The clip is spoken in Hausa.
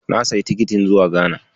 Na siyi tikitin zuwa Ghana.